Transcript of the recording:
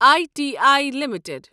I T I limited